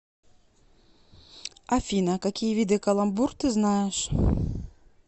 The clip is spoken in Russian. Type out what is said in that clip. афина какие виды каламбур ты знаешь